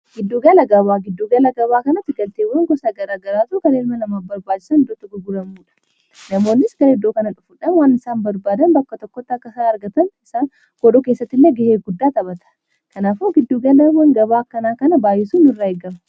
giddugala gabaa, giddugala gabaa kanatti galteewwan gosa gara garaatu kan ilmaa nama barbaachisan iddoo ittii guguuramuudha namoonnis iddoo kana dhufuudhan waan isaan barbaadan bakka tokkotti akka isaan argatan isaan godhuu keessatti illee ga'ee guddaa taphataa kanaafuu giddugalawwaan gabaa akkanaa kana baay'isuu nu irraa eegama.